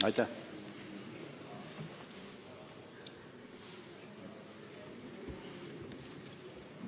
Aitäh!